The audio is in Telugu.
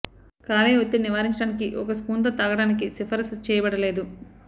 కాలేయ ఒత్తిడి నివారించడానికి ఒక స్పూన్ తో తాగడానికి సిఫారసు చేయబడలేదు